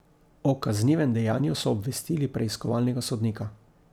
O kaznivem dejanju so obvestili preiskovalnega sodnika.